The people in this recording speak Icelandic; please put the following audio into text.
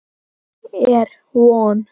Er von?